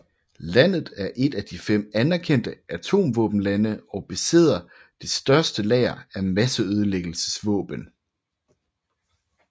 Landet er et af de fem anerkendte atomvåbenlande og besidder det største lager af masseødelæggelsesvåben